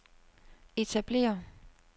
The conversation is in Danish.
etablere